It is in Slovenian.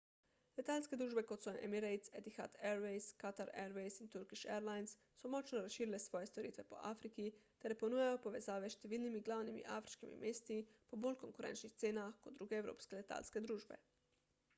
letalske družbe kot so emirates etihad airways qatar airways in turkish airlines so močno razširile svoje storitve po afriki ter ponujajo povezave s številnimi glavnimi afriškimi mesti po bolj konkurenčnih cenah kot druge evropske letalske družbe